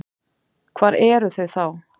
Hvar eru þau þá?